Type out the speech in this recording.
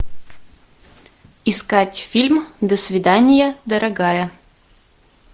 искать фильм до свидания дорогая